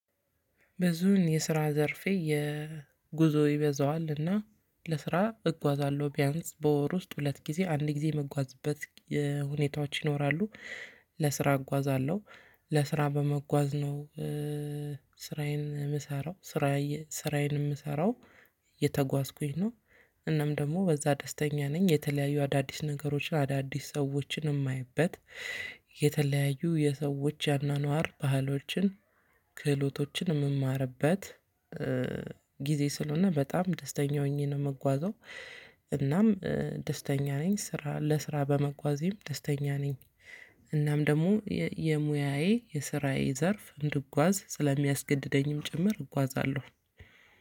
ብዙን የስራ ዘርፌ የጉዞ ይበዛዋልና ለስራ እጓዛለሁ ቢያንስ በወር ውስጥ ሁለት ጊዜ አንድ ጊዜ የመጓዝበት ሁኔታዎች ይኖራሉ። ለስራ እጓዛለሁ ለስራ በመጓዝ ነው። ስራዬን እምሰራው። ስራዬን እምሰራው እየተጓዝኩኝ ነው። እናም ደግሞ በዛ ደስተኛ ነኝ የተለያዩ አዳዲስ ነገሮችን አዳዲስ ሰዎችን እማየበት። የተለያዩ የሰዎች ያናኗር ባህሎችን ክህሎቶችን የምማርበት። ጊዜ ስለሆነ በጣም ደስተኛ ሆኜ ነው የምጓዘው። እናም ደስተኛ ነኝ ስራ ለስራ በመጓዜም ደስተኛ ነኝ። እናም ደግሞ የሙያዬ የስራዬ ዘርፍ እንድጓዝ ስለሚያስገድደኝም ጭምር እጓዛለሁ።